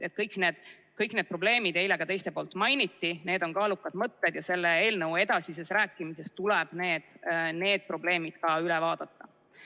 Kõiki neid probleeme eile ka mainiti, need on kaalukad mõtted ja selle eelnõu edasises arutelus tuleb need probleemid ka üle vaadata.